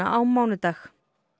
á mánudag